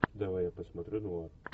давай я посмотрю нуар